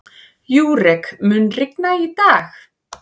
Júrek, mun rigna í dag?